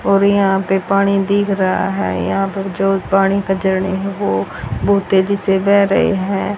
और यहां पे पानी दिख रहा है यहां पे जो पानी कचड़े है वो बहुत तेजी से बेह रहे हैं।